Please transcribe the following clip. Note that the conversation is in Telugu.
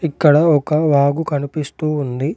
ఇక్కడ ఒక వాగు కనిపిస్తూ ఉంది.